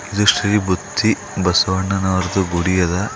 ಇದು ಶ್ರೀ ಬುತ್ತಿ ಬಸವಣ್ಣನವರದು ಗುಡಿಯದ.